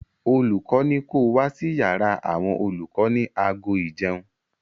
Olùkọ́ ní ko wá sí yàrá àwọn olùkọ ní aago ìjẹun.